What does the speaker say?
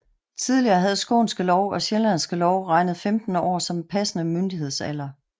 Tidligere havde Skånske Lov og Sjællandske Lov regnet 15 år som passende myndighedsalder